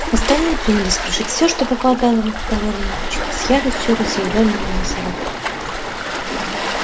остальные принялись крушить все что попадало в их проворные ручки с яростью разъярённого носорога